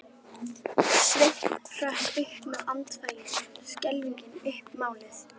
Það var ólæst eins og venjulega.